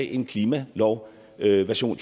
en klimalov version